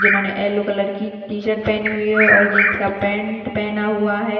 जिन्होंने yellow colour की T-shirt पहनी हुई हैऔर जींस का पेंट पहना हुआ है।